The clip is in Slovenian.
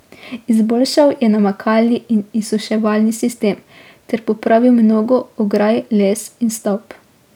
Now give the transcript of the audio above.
Izboljšal je namakalni in izsuševalni sistem ter popravil mnogo ograj, les in stavb.